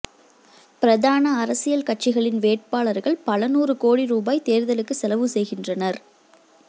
பிரதான அரசியல் கட்சிகளின் வேட்பாளர்கள் பல நூறு கோடி ரூபாய் தேர்தலுக்கு செலவு செய்கின்றனர்